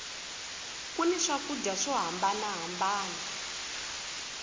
ku ni swakudya swo hambana hambana